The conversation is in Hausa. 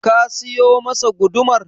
Ka siyo masa gudumar?